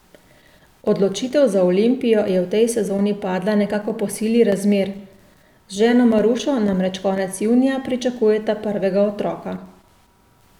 Odločitev za Olimpijo je v tej sezoni padla nekako po sili razmer, z ženo Marušo namreč konec junija pričakujeta prvega otroka.